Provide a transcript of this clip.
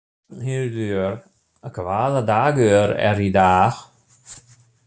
Rafnhildur, hvaða dagur er í dag?